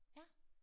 Ja?